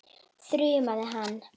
þrumaði hann.